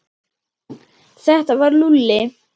Þetta var Lúlli.